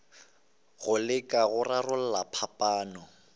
go leka go rarolla phapano